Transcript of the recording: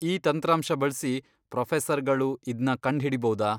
ಈ ತಂತ್ರಾಂಶ ಬಳ್ಸಿ ಪ್ರೊಫೆಸರ್ಗಳು ಇದ್ನ ಕಂಡ್ಹಿಡೀಬೌದಾ?